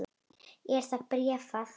Er það bréfað?